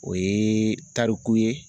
O ye tariku ye.